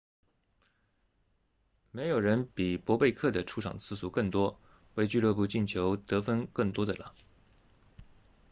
没有人比博贝克 bobek 的出场次数更多为俱乐部进球得分更多的了